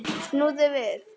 Snúðu við.